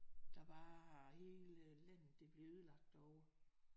Der bare hele landet bliver ødelagt derovre